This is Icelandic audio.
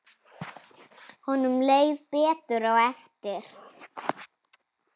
Honum leið betur á eftir.